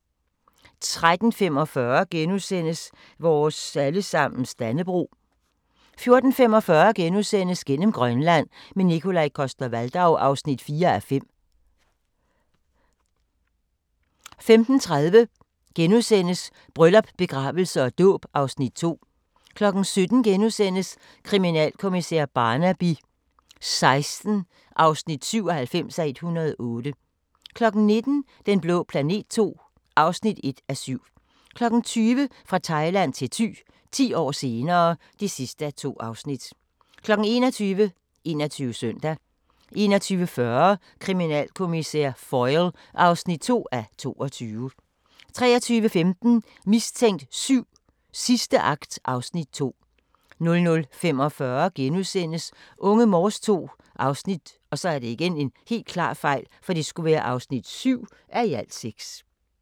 13:45: Vores allesammens Dannebrog * 14:45: Gennem Grønland – med Nikolaj Coster-Waldau (4:5)* 15:30: Bryllup, begravelse og dåb (Afs. 2)* 17:00: Kriminalkommissær Barnaby XVI (97:108)* 19:00: Den blå planet II (1:7) 20:00: Fra Thailand til Thy – 10 år senere (2:2) 21:00: 21 Søndag 21:40: Kriminalkommissær Foyle (2:22) 23:15: Mistænkt 7: Sidste akt (Afs. 2) 00:45: Unge Morse II (7:6)*